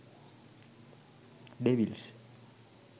devils